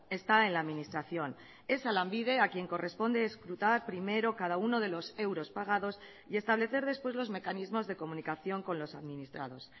está en la administración es a lanbide a quién corresponde escrutar primero cada uno de los euros pagados y establecer después los mecanismos de comunicación con los administrados